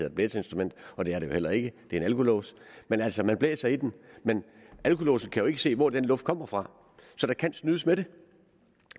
et blæseinstrument og det er det jo heller ikke det er en alkolås men altså man blæser i den men alkolåsen kan jo ikke se hvor den luft kommer fra så der kan snydes med det